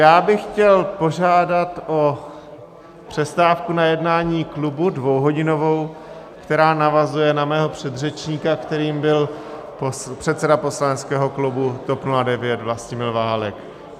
Já bych chtěl požádat o přestávku na jednání klubu dvouhodinovou, která navazuje na mého předřečníka, kterým byl předseda poslaneckého klubu TOP 09 Vlastimil Válek.